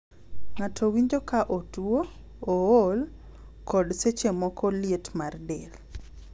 Ng'ato winjo ka otuo, ool, kod seche moko liet mar del.